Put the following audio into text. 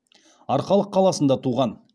арқалық қаласында туған